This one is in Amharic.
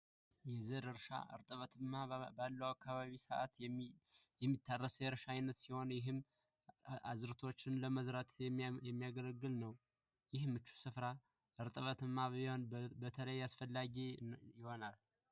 የዘር እርሻ እርጥበት ባለበት ወቅት አካባቢ የሚታረስ እርሻ አይነት ሲሆን ይህም አዝርቱ ለመዝራት የሚያገለግል ነው ይህም ምቹ ስፍራ እርጥበታማ እና አስፈላጊ ይሆናል።